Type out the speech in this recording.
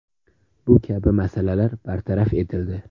Bu kabi masalalar bartaraf etildi.